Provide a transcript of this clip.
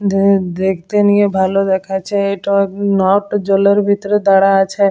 দু দেখতে নিয়ে ভালো দেখাচ্ছে এটা নপট জলের ভিতরে দাঁড়া আছে।